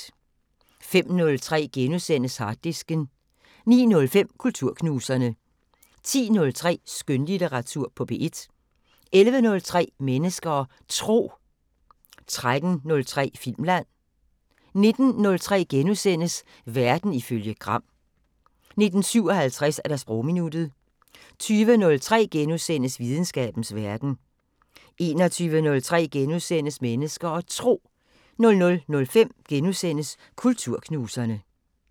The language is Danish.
05:03: Harddisken * 09:05: Kulturknuserne 10:03: Skønlitteratur på P1 11:03: Mennesker og Tro 13:03: Filmland 19:03: Verden ifølge Gram * 19:57: Sprogminuttet 20:03: Videnskabens Verden * 21:03: Mennesker og Tro * 00:05: Kulturknuserne *